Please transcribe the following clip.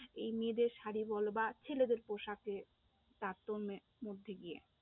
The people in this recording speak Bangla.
এই মেয়েদের শাড়ি বলো বা ছেলেদের পোশাকের তারতম্যের মধ্যে দিয়ে